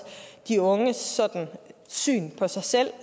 de unges syn på sig selv